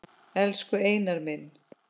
Elsku Einar minn.